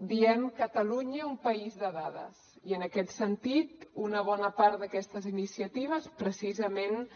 diem catalunya un país de dades i en aquest sentit una bona part d’aquestes iniciatives precisament